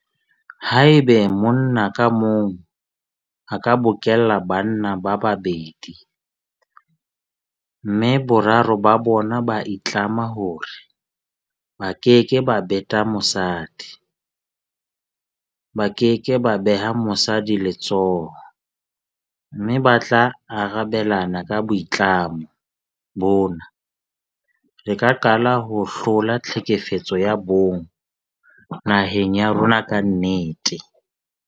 Haeba monna ka mong a ka bokella banna ba babedi mme boraro ba bona ba itlama hore ba keke ba beta mosadi, ba ke ke ba beha mosadi letsoho mme ba tla arabelana ka boitlamo bona, re ka qala ho hlola tlhekefetso ya bong naheng ya rona ka nnete.